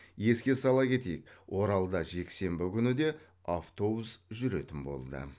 еске сала кетейік оралда жексенбі күні де автобус жүретін болды